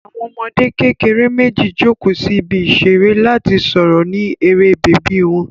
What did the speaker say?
Àwọn ọmọdé kékeré méjì jókòó sí ibi ìṣeré láti sọ̀rọ̀ ní eré bèbí wọn.